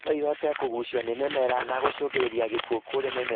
Noĩhote kũgucio nĩ mĩmera na gũcũngĩrĩria gĩkuo kũrĩ mĩmera